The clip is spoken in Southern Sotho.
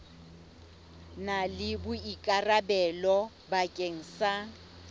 na le boikarabelo bakeng sa